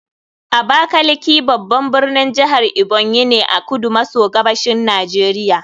Abakaliki babban birnin jihar Ebonyi ne a kudu maso gabashin Najeriya